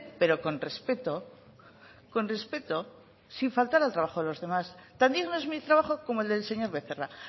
pero con respeto con respeto sin faltar al trabajo de los demás tan digno es mi trabajo como el del señor becerra